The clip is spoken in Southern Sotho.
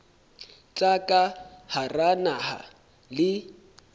tsa ka hara naha le